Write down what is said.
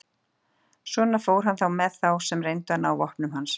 Svona fór hann með þá sem reyndu að ná vopnum hans.